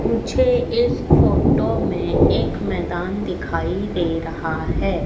मुझे इस फोटो में एक मैदान दिखाई दे रहा है।